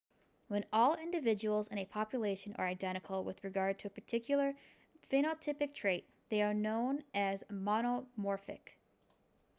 when all individuals in a population are identical with regard to a particular phenotypic trait they are known as monomorphic